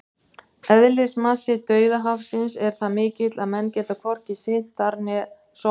Eðlismassi Dauðahafsins er það mikill að menn geta hvorki synt þar né sokkið!